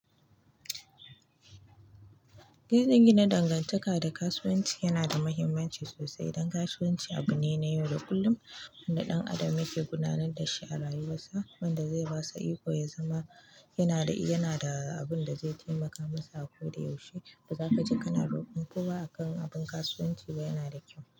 In gina dangantaka da kasuwanci yana da muhimmanci sosai. Ɗan kasuwan ci abu ne na yau da kullum kuma ɗan adam yake ginawa na yau da kullum wanda zai basa ikon ya zama yanada abinda zai taimaka masa ako da yaushe ba za ka je ka na roƙon ko ba a kan abin kasuwanci ba, yana da kyau.